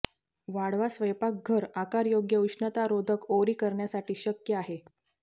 वाढवा स्वयंपाकघर आकार योग्य उष्णतारोधक ओरी करण्यासाठी शक्य आहे